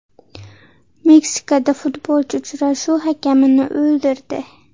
Meksikada futbolchi uchrashuv hakamini o‘ldirdi.